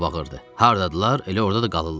Hardadılar, elə orda da qalırlar.